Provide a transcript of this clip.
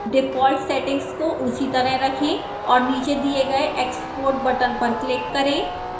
default settings को उसी तरह रखें और नीचे दिए गए export button पर click करें